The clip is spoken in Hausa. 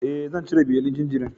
E, zan cire belin jinjirin.